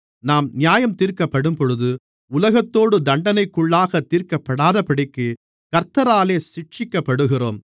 நாம் நியாயந்தீர்க்கப்படும்போது உலகத்தோடு தண்டனைக்குள்ளாகத் தீர்க்கப்படாதபடிக்கு கர்த்தராலே சிட்சிக்கப்படுகிறோம்